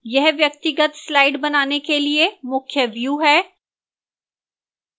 यह व्यक्तिगत slides बनाने के लिए मुख्य view है